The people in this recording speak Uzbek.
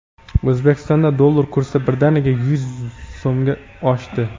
O‘zbekistonda dollar kursi birdaniga yuz so‘mga oshdi.